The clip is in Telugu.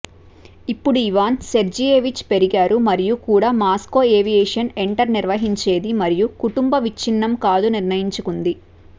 ఇప్పుడు ఇవాన్ సెర్జియేవిచ్ పెరిగారు మరియు కూడా మాస్కో ఏవియేషన్ ఎంటర్ నిర్వహించేది మరియు కుటుంబ విచ్ఛిన్నం కాదు నిర్ణయించుకుంది